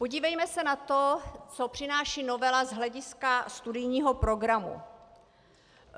Podívejme se na to, co přináší novela z hlediska studijního programu.